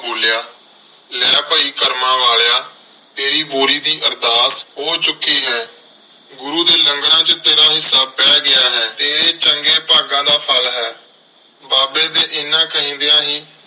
ਬੋਲਿਆ ਲੈ ਭਾਈ ਕਰਮਾਂ ਵਾਲਿਆ ਤੇਰੀ ਬੋਰੀ ਦੀ ਅਰਦਾਸ ਹੋ ਚੁੱਕੀ ਹੈ। ਗੁਰੂ ਦੇ ਲੰਗਰਾਂ ਚ ਤੇਰਾ ਹਿੱਸਾ ਪੈ ਗਿਆ ਹੈ। ਤੇਰੇ ਚੰਗੇ ਭਾਗਾਂ ਦਾ ਫ਼ਲ ਹੈ। ਬਾਬੇ ਦੇ ਐਨਾ ਕਹਿੰਦਿਆਂ ਹੀ,